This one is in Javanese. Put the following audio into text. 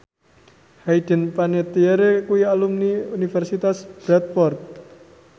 Hayden Panettiere kuwi alumni Universitas Bradford